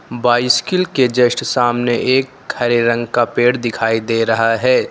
Bicycle के just सामने एक हरे रंग का पेड़ दिखाई दे रहा है।